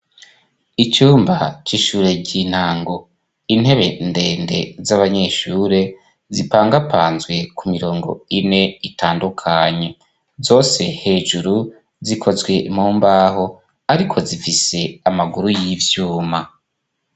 Icumba c'ishure ry'intango, intebe ndende z'abanyeshure zipangapanzwe ku mirongo ine itandukanye zose hejuru zikozwe mumbaho. Ariko zifise amaguru y'ivyuma.